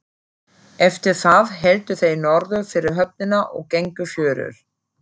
Eftir það héldu þeir norður fyrir höfnina og gengu fjörur.